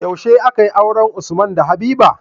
Yaushe akayi auren usman da habiba?